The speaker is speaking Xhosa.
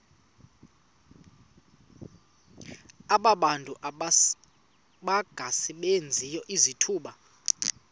abantu abangasebenziyo izithuba